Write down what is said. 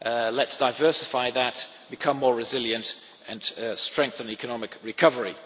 Let us diversify that, become more resilient and strengthen economic recovery.